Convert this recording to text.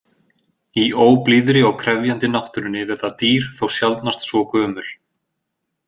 Í óblíðri og krefjandi náttúrunni verða dýr þó sjaldnast svo gömul.